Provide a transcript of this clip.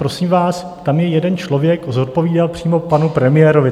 Prosím vás, tam je jeden člověk, zodpovídal přímo panu premiérovi.